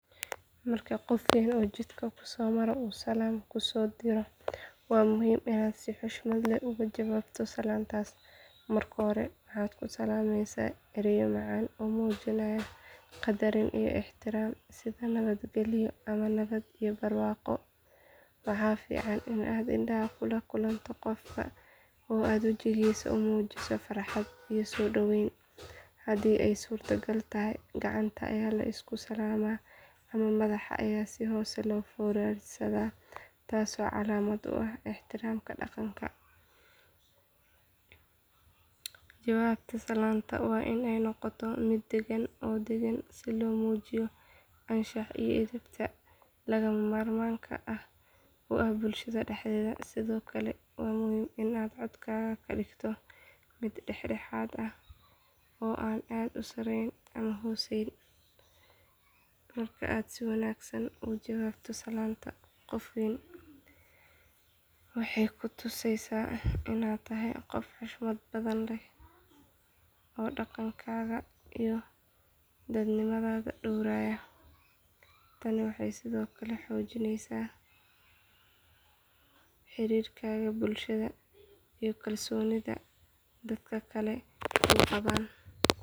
Marka qof weyn oo jidka ku soo mara uu salaam ku soo diro waa muhiim inaad si xushmad leh uga jawaabto salaantaas. Marka hore, waxaad ku salaamaysaa ereyo macaan oo muujinaya qadarin iyo ixtiraam sida nabad gelyo ama nabad iyo barwaaqo. Waxaa fiican in aad indhaha kula kulanto qofka oo aad wejigiisa u muujiso farxad iyo soo dhaweyn. Haddii ay suuragal tahay, gacanta ayaa la isku salaamaa ama madax ayaa si hoose loo foorarsadaa taasoo calaamad u ah ixtiraamka dhaqanka. Jawaabta salaanta waa in ay noqotaa mid degan oo deggan si loo muujiyo anshaxa iyo edebta lagama maarmaanka u ah bulshada dhexdeeda. Sidoo kale waa muhiim in aad codkaaga ka dhigto mid dhexdhexaad ah oo aan aad u sarreyn ama hooseyn. Marka aad si wanaagsan uga jawaabto salaanta qof weyn waxay ku tusaysaa inaad tahay qof xushmad badan leh oo dhaqankaaga iyo dadnimadaada dhowraya. Tani waxay sidoo kale xoojinaysaa xiriirkaaga bulshada iyo kalsoonida dadka kale kuu qabaan.